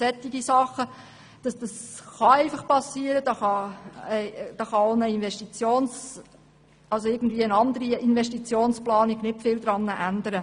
Das kann passieren, daran kann auch eine anders geartete Investitionsplanung kaum etwas ändern.